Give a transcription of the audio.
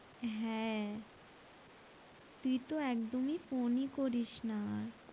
হ্যাঁ তুই তো একদমই phone ই করিস না আর